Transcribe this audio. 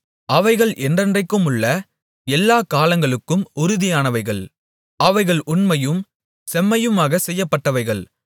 அவைகள் என்றென்றைக்குமுள்ள எல்லாகாலங்களுக்கும் உறுதியானவைகள் அவைகள் உண்மையும் செம்மையுமாகச் செய்யப்பட்டவைகள்